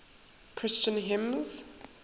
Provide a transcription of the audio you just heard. christian hymns